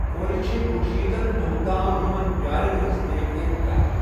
کوٗرِ چھِ کنُشیٕتن دۄہَن تام یِمَن بیالن ہنٛز دیکھ ریکھ کران۔